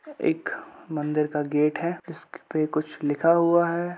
एक मंदिर का गेट है जिसक पे कुछ लिखा हुआ है।